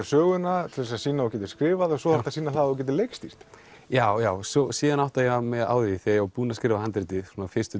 söguna til að sýna að þú gætir skrifað svo þarftu að sýna það að þú gætir leikstýrt já já síðan áttaði ég mig á því þegar ég búinn að skrifa handritið fyrstu